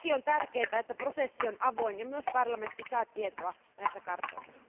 Toki on tärkeätä, että prosessi on avoin, ja että myös parlamentti saa tietoa näistä kartoista.